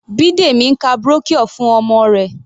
Bidemi ń ka brochure fún ọmọ rẹ̀.